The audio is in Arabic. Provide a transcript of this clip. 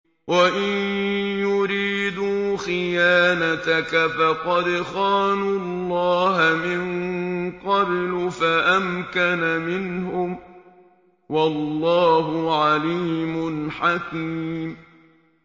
وَإِن يُرِيدُوا خِيَانَتَكَ فَقَدْ خَانُوا اللَّهَ مِن قَبْلُ فَأَمْكَنَ مِنْهُمْ ۗ وَاللَّهُ عَلِيمٌ حَكِيمٌ